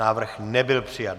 Návrh nebyl přijat.